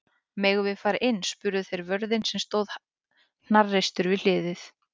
Megum við fara inn? spurðu þeir vörðinn sem stóð hnarreistur við hliðið.